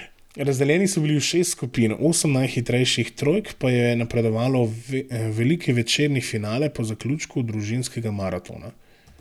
Razdeljeni so bili v šest skupin, osem najhitrejših trojk pa je napredovalo v veliki večerni finale po zaključku družinskega maratona.